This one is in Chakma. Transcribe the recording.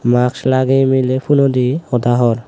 mask lageyi mile phone odi hoda hor.